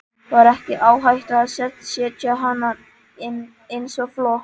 Var ekki áhætta að setja hana inn svo fljótt?